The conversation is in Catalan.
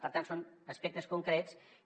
per tant són aspectes concrets que